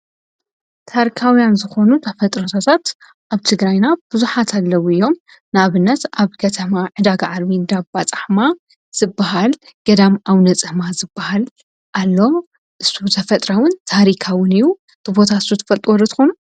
ታርካውያን ዝኾኑ ተፈጥሮታት ኣብ ትግራይና ብዙሓት ኣለዉ እዮም፡፡ ንኣብነት ኣብ ከተማ ዕዳጋ ዓርቢ ዓብይን ገዳማ እንዳ ፃሕማ ዝበሃል ገዳም ኣውነ ፃማ ዝበሃል ኣሎ፡፡ እቲ ተፈጥራኣውን ታሪካውን እዩ፡፡ ት ቦታ ሱ ትፈልጥዎ ዶ ትኾኑ?